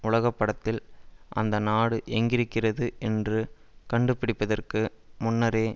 உலக படத்தில் அந்த நாடு எங்கிருக்கிறது என்று கண்டுபிடிப்பதற்கு முன்னரே